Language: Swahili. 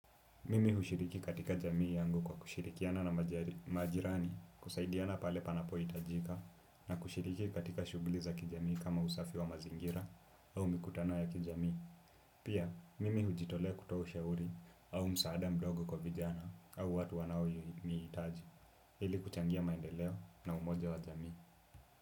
Mimi hushiriki katika jamii yangu kwa kushirikiana na majirani, kusaidiana pale panapohitajika na kushiriki katika shughuli za kijamii kama usafi wa mazingira au mikutano ya kijamii. Pia, mimi hujitolea kutoa ushauri au msaada mdogo kwa vijana, au watu wanaonihitaji ili kuchangia maendeleo na umoja wa jamii.